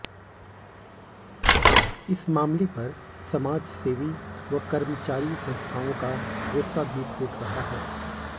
इस मामले पर समाजसेवी व कर्मचारी संस्थाओं का गुस्सा भी फूट रहा है